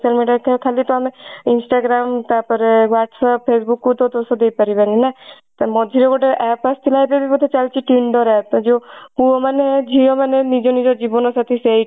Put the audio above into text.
social media ତ ଖାଲି ତ ଆମେ instagram ତାପରେ whatsapp facebook ତ ଦୋଷ ଦେଇପାରିବାନି ନା ତ ମଝିରେ ଗୋଟେ app ଆସିଥିଲା ଏବେ ବି ବୋଧେ ଚାଲିଛି tinder app ଯୋ ପୁଅ ମାନେ ଝିଅ ମାନେ ନିଜ ନିଜ ଜୀବନ ସାଥି ସେଇ